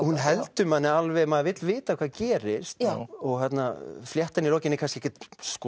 hún heldur manni alveg maður vill vita hvað gerist fléttan í lokin er kannski ekkert